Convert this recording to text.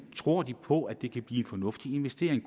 tror på at det kan blive en fornuftig investering